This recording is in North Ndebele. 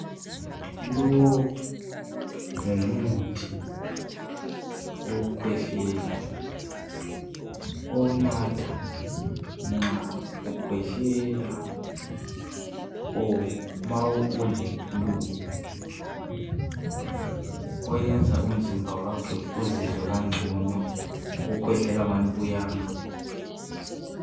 Lo ngumuthi owokukhwehlela owunatha nxa ukhwehlela kumbe ma ule flue .Oyenza umzimba wakho izizwe kangcono ukukhwehlela kungani kuyama.